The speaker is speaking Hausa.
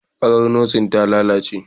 Farar Nurse ta lalace